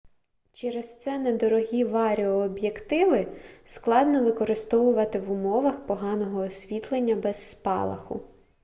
через це недорогі варіооб'єктиви складно використовувати в умовах поганого освітлення без спалаху